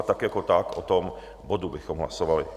A tak jako tak o tom bodu bychom hlasovali.